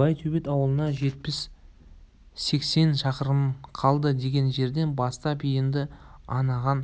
байтөбет ауылына жетпіс-сексен шақырым қалды деген жерден бастап енді анығын